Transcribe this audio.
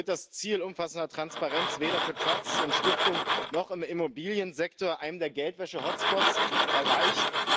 So wird das Ziel umfassender Transparenz weder für Trusts und Stiftungen noch im Immobiliensektor, einem der Geldwäsche Hotspots, erreicht.